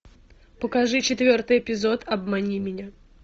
покажи четвертый эпизод обмани меня